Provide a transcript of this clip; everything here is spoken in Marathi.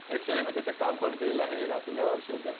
ऍक्च्युली मी तिथे काम पण केलेलं आहे दापोली कृषी विद्यापीठामध्ये